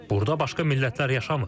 Burda başqa millətlər yaşamır.